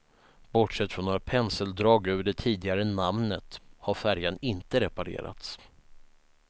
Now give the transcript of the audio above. Bortsett från några penseldrag över det tidigare namnet har färjan inte reparerats.